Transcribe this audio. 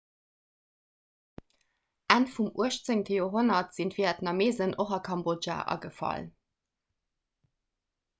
enn vum 18 joerhonnert sinn d'vietnameesen och a kambodja agefall